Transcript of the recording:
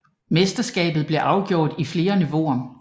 Mesterskabet blev afgjort i flere niveauer